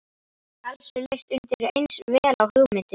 Elsu leist undireins vel á hugmyndina.